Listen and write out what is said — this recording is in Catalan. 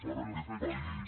per a aquest país